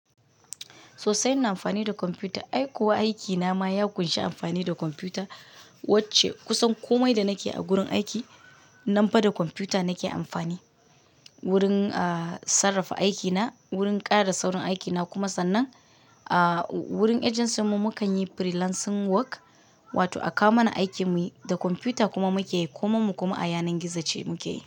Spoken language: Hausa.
Sosai na amfani da kwamfuta. Ai kuwa aikina ma ya ƙunshi amfani da kwamfuta. Wacce kusan komai da nake a gurin aiki, nan bada kwamfuta nake amfani. Wurin, ahhh, sarrafa aikina, wurin ƙara da sauran aikina kuma sannan, ahhh, wurin agency mu mukan yi freelancing work. Wato a kawo mana aiki muyi da kwamfuta kuma muke yi. Kuma mu kuma a yanar gizo ce muke yi.